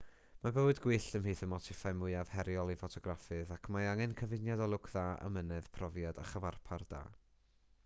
mae bywyd gwyllt ymhlith y motiffau mwyaf heriol i ffotograffydd ac mae angen cyfuniad o lwc dda amynedd profiad a chyfarpar da